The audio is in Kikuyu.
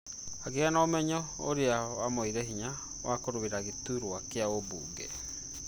Akĩgĩa na ũmenyo ũria wamũheire hinya wa kũrũĩra gĩtutwa kĩa ũmbunge